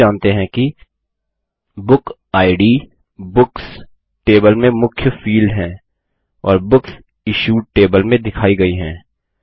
हम यह भी जानते हैं कि बुक इद बुक्स टेबल में मुख्य फिल्ड है और बुक्स इश्यूड टेबल में दिखाई गयी है